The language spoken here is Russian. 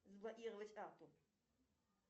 заблокировать карту